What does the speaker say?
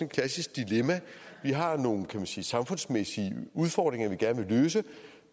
klassisk dilemma vi har nogle kan man sige samfundsmæssige udfordringer vi gerne vil løse